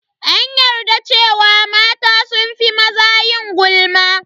An yarda cewa mata sun fi maza yin gulma.